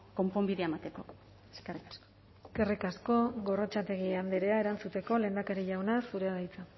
konponbidea emateko eskerrik asko eskerrik asko gorrotxategi andrea erantzuteko lehendakari jauna zurea da hitza